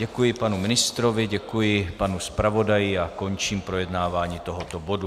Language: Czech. Děkuji panu ministrovi, děkuji panu zpravodaji a končím projednávání tohoto bodu.